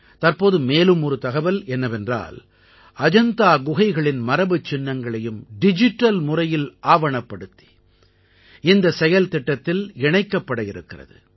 தற்போது மேலும் ஒரு தகவல் என்னவென்றால் அஜந்தா குகைகளின் மரபுச்சின்னங்களையும் டிஜிட்டல் முறையில் ஆவணப்படுத்தி இந்த செயல்திட்டத்தில் இணைக்கப்படவிருக்கிறது